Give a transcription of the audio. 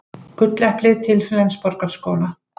Gulleplið til Flensborgarskóla